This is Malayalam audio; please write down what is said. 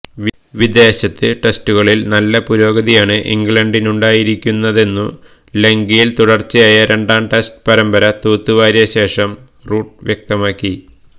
വിദേശത്ത് ടെസ്റ്റുകളില് നല്ല പുരോഗതിയാണ് ഇംഗ്ലണ്ടിനുണ്ടായിരിക്കുന്നതെന്നു ലങ്കയില് തുടര്ച്ചയായ രണ്ടാം ടെസ്റ്റ് പരമ്പര തൂത്തുവാരിയ ശേഷം റൂട്ട് വ്യക്തമാക്കി